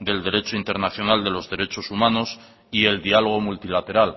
del derecho internacional de los derechos humanos y el diálogo multilateral